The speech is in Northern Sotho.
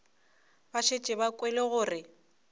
ba šetše ba kwele gore